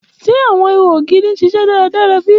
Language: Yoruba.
Ṣe awọn iho ogiri n ṣiṣẹ daradara bi?